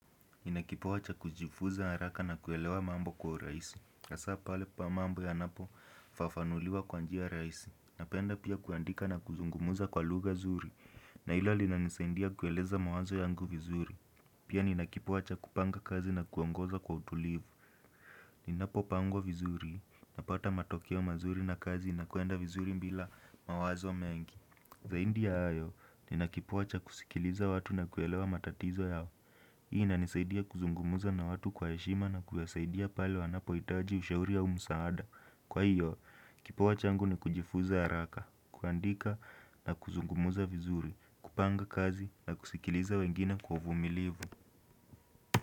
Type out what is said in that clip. Nina kipawa cha kujifunza haraka na kuelewa mambo kwa urahisi. Hasa pale pa mambo yanapofafanuliwa kwa njia rahisi. Napenda pia kuandika na kuzungumuza kwa luga zuri. Na hilo linanisaidia kueleza mawazo yangu vizuri. Pia ninakipawa cha kupanga kazi na kuongoza kwa utulivu. Ninapopangwa vizuri. Napata matokeo mazuri na kazi inakwenda vizuri bila mawazo mengi. Zaidi ya hayo, ninakipawa cha kusikiliza watu na kuelewa matatizo yao. Hii inanisaidia kuzungumza na watu kwa heshima na kuwasaidia pale wanapohitaji ushauri au msaada. Kwa hiyvo, kipawa changu ni kujifuza haraka, kuandika na kuzungumza vizuri, kupanga kazi na kusikiliza wengine kwa uvumilivu.